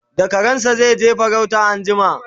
da karansa zaije farauta anjima